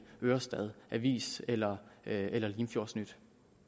ørestad avis eller eller limfjordsnyt